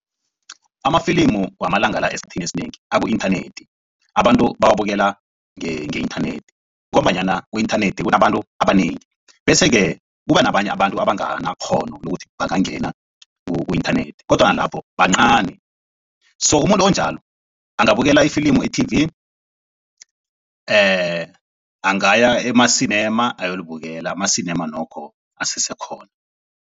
Amafilimu wamalanga la esikhathini esinengi aku-inthanethi abantu bawabukela nge-inthanethi ngombanyana ku-inthanethi kunabantu abanengi bese-ke kuba nabanye abantu abanganakghono lokuthi bangangena ku-inthanethi kodwana lapho bancani, so umuntu onjalo angabukela ifilimu e-T_V, angaya emasinema ayolibukela amasinema nokho asesekhona.